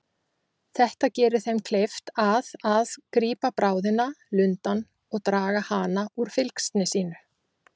Þetta gerir þeim kleift að að grípa bráðina, lundann, og draga hana úr fylgsni sínu.